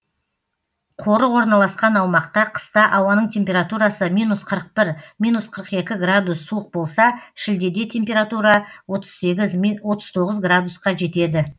қорық орналасқан аумақта қыста ауаның температурасы минус қырық бір минус қырық екі градус суық болса шілдеде температура отыз сегіз отыз тоғыз градусқа жетеді